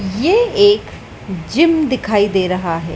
ये एक जिम दिखाई दे रहा है।